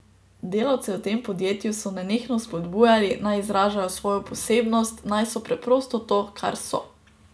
Delavce v tem podjetju so nenehno vzpodbujali, naj izražajo svojo posebnost, naj so preprosto to, kar so.